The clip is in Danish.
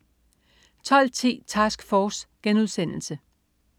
12.10 Task Force*